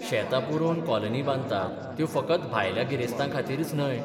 शेतां पुरोवन कॉलनी बांदतात त्यो फकत भायल्या गिरेस्तांखातीरच न्हय.